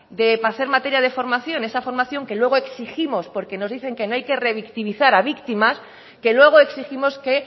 para hacer materia de formación esa formación que luego exigimos porque nos dicen que no hay que revictimizar a víctimas que luego exigimos que